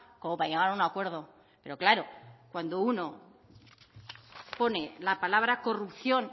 como para llegar a un acuerdo pero claro uno pone la palabra corrupción